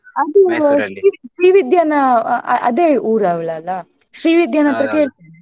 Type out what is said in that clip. ಶ್ರೀ ವಿದ್ಯಾನ ಆ ಅ~ ಅದೆ ಊರವಳಲ್ಲ ಕೇಳ್ತೀನಿ.